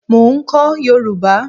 Mo ń kọ́ yòrùbá.